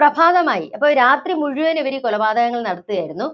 പ്രഭാതമായി. അപ്പോ രാത്രി മുഴുവന്‍ ഇവരീ കൊലപാതകങ്ങള്‍ നടത്തുകയായിരുന്നു.